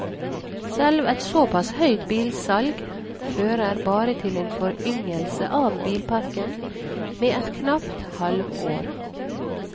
Selv et såpass høyt bilsalg fører bare til en foryngelse av bilparken med et knapt halvår.